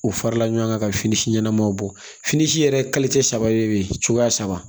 U farala ɲɔgɔn kan ka fini ɲɛnamaw bɔ fini si yɛrɛ saba de bɛ yen cogoya saba